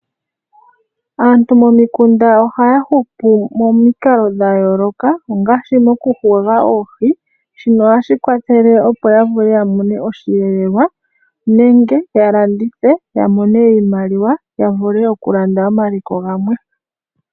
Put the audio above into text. Aantu momikunda ohaya hupu momikalo dha yooloka ngaashi mokukwata oohi shino ohashi kwathele opo ya vule ya mone oshelelwa ya landithe ya mone iimaliwa ya vule omaliko gamwe.